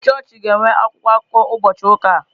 Ee chọọchị ga-enwe akwụkwọ akụkọ ụbọchị ụka a.